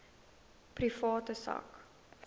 private sak